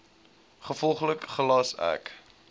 gevolglik gelas ek